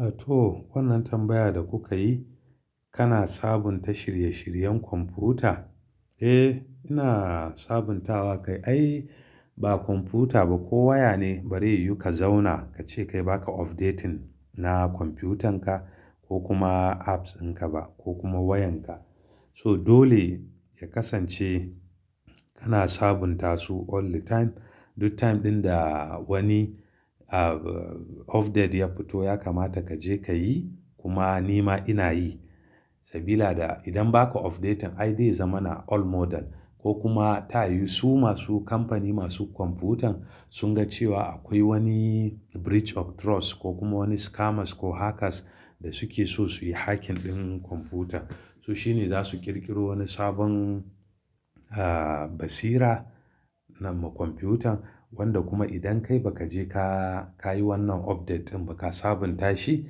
A to wannan tambayar da kuka yi, kana sabunta shirye-shiryen kwamfuta? Eh, ina sabuntawa kai. Ai ba kwamfuta ba ko waya ne bari yu ka zauna ka ce kai baka updating na kwamfutanka ko kuma apps dinka ba ko kuma wayanka. So dole ya kasance kana sabunta su all the time. Duk time ɗin da wani update ya fito ya kamata ka je ka yi. Kuma ni ma ina yi sabida idan baka update ai dai zama na old model ko kuma ta yi su masu kamfani masu kwamfutan sun ga cewa akwai wani breach of trust ko kuma wani scammers ko hackers da suke so su yi hacking ɗin kwamfuta. To shine za su ƙirƙiro wani sabon, ah basira nama kwamfutan wanda kuma idan kai ba ka je ka, ka yi wannan update ba ka sabunta shi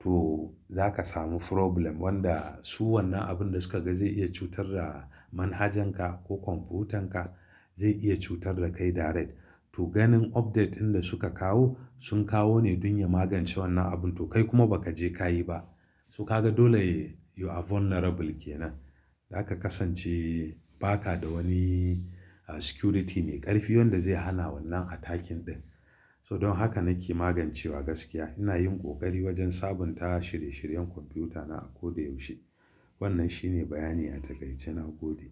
to za ka samu problem wanda su wannan abin da suka ga zai iya cutar da manhajanka ko kwamfutanka zai iya cutar da kai direct. To ganin update ɗin da suka kawo sun kawo ne don ya magance wannan abu to kai kuma ba ka je ka yi ba. Su ka ga dole you are vulnerable ke nan. Zaka kasance ba ka da wani security mai ƙarfi wanda zai hana wannan attacking ɗin. So don haka nake magancewa gaskiya. Ina yin ƙoƙari wajen sabunta shirye-shiryen kwamfutana a koda yaushe. Wannan shine bayani a taƙaice na gode.